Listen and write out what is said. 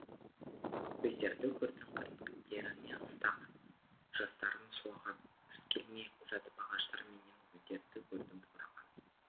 көздерді көрдім кірпіктеріне ыстық жастарын сулаған күз келмей жатып ағаштар менен гүлдерді көрдім қураған